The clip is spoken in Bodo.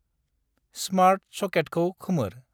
स्मार्त सकेतखौ खोमोर।